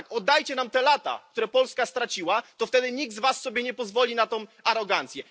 powiem wam tak oddajcie nam te lata, które Polska straciła, to wtedy nikt z was sobie nie pozwoli na tę arogancję.